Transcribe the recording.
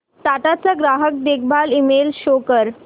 टाटा चा ग्राहक देखभाल ईमेल शो कर